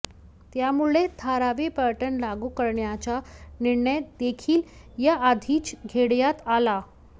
त्यामुळे धारावी पॅटर्न लागू करण्याचा निर्णय देखील याआधीच घेण्यात आला